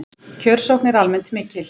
Kjörsókn er almennt mikil